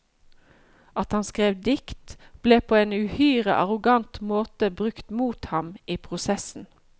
At han skrev dikt, ble på en uhyre arrogant måte brukt mot ham i prosessen.